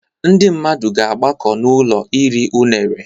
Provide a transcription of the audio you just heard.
Ndị mmadụ ga-agbakọta n'ụlọ iri unere